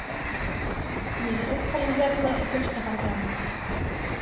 Ég er uppalinn hérna og finnst það bara gaman.